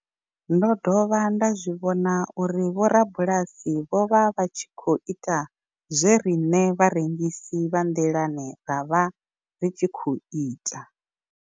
Ndo dovha nda zwi vhona uri vhorabulasi vho vha vha tshi khou ita zwe riṋe vharengisi vha nḓilani ra vha ri tshi khou ita.